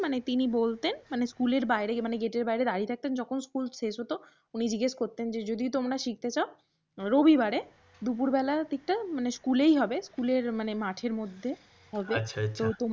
মানে তিনি বলতেন স্কুলের বাইরে মানে gate এর বাইরে দাঁড়িয়ে থাকতেন মানে যখন স্কুল শেষ হত উনি জিজ্ঞেস করতেন যে যদি তোমরা শিখতে চাও রবিবারে দুপুর বেলা দিকটা মানে স্কুলেই হবে স্কুলের মানে মাঠের মধ্যে হবে আচ্ছা আচ্ছা।